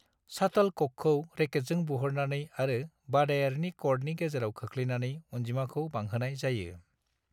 शाटोलक'कखौ रेकेटजों बुहरनानै आरो बादायारिनि क'र्टनि गेजेराव खोख्लैनानै अनजिमाखौ बांहोनाय जायो।